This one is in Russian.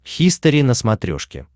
хистори на смотрешке